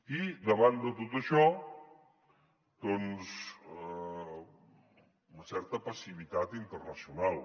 i davant de tot això doncs una certa passivitat internacional